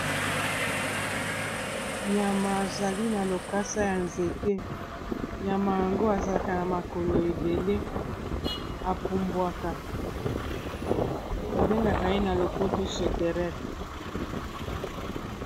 nyama azali na lokasa ya nzete nyama yango azalaka na makolo ebele epumbwaka babengaka ye na lopoto soterel